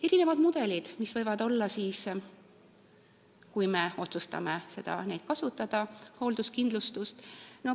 Millised on mudelid, mida võib kasutada, kui me otsustame hoolduskindlustust kasutama hakata?